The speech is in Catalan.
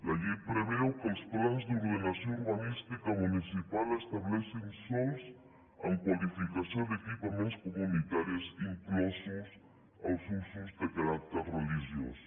la llei preveu que els plans d’ordenació urbanística municipal estableixin sòls amb qualificació d’equipaments comunitaris inclosos els usos de caràcter religiós